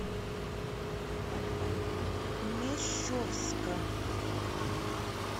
мещовска